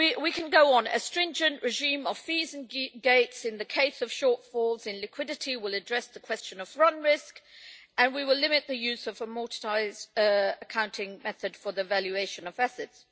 could go on a stringent regime of fees and gates in the case of shortfalls in liquidity will address the question of run risk, and we will limit the use of the amortised accounting method for the valuation of assets.